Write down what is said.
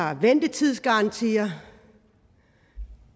har ventetidsgarantier